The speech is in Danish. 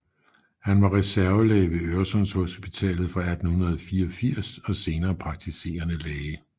Han var reservelæge ved Øresundshospitalet fra 1884 og senere praktiserende læge